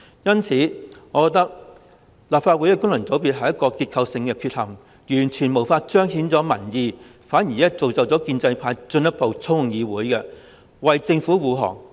因此，我認為立法會功能界別是一個結構性的缺陷，完全無法彰顯民意，反而造就建制派進一步操控議會，為政府護航。